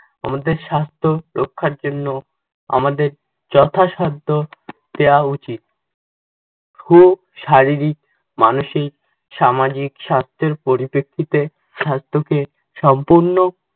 আমাদের স্বাস্থ্য রক্ষার জন্য আমাদের যথাসাধ্য দেওয়া উচিত। হোক শারীরিক, মানসিক, সামাজিক শর্তের পরিপ্রেক্ষিতে স্বাস্থ্যকে সম্পূর্ণ